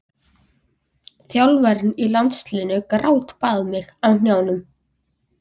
Þjálfarinn hjá landsliðinu grátbað mig á hnjánum.